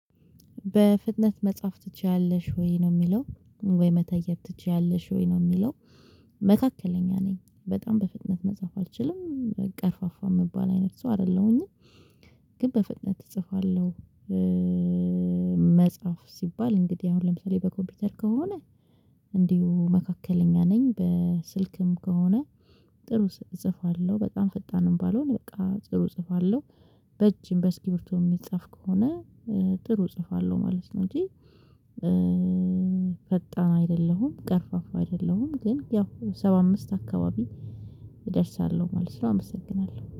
በፍጥነት መጻፍ ትችያለሽ ወይ መተየብ ትችያለሽ ወይ ነው የሚለው? መካከለኛ ነኝ በጣም በፍጥነት መጻፍ አልችልም ቀርፋፋ የሚባል አይነት ሰው አይደለሁኝም። ግን በፍጥነት እጽፋለሁ። መጻፍ ሲባል እንግዲህ አሁን ለምሳሌ በኮምፒውተር ከሆነ እንዲሁ መካከለኛ ነኝ በስልክም ከሆነ ጥሩ እጽፋለሁ። በጣም ፈጣንም ባልሆን በቃ ጥሩ እጽፋለሁ። በእጅም በስኪብርቶ የሚጻፍ ከሆነ ጥሩ እጽፋለሁ ማለት ነው። እንጂ ፈጣን አይደለሁም ቀርፋፋ አይደለሁም ግን ያው ሰባአምስት አካባቢ እደርሳለሁ ማለት ነው። አመሰግናለሁ